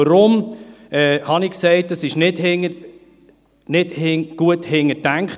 Weshalb habe ich gesagt, das Ganze sei von der SiK nicht gut durchdacht?